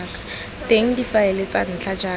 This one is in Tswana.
teng difaele tsa ntlha jaaka